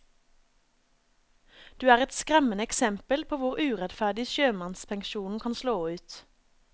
Du er et skremmende eksempel på hvor urettferdig sjømannspensjonen kan slå ut.